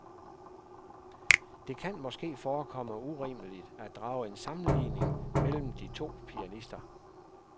Det kan måske forekomme urimeligt at drage en sammenligning mellem de to pianister.